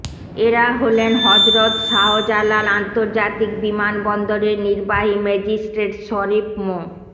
এরা হলেন হযরত শাহজালাল আন্তর্জাতিক বিমানবন্দরের নির্বাহী ম্যাজিস্ট্রেট শরীফ মো